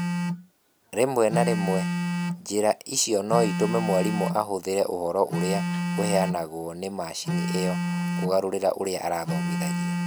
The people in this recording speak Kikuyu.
Rĩmwe na rĩmwe, njĩra icio no itũme mwarimũ ahũthĩre ũhoro ũrĩa ũheanagwo nĩ macini ĩyo kũgarũrĩra ũrĩa arathomithia.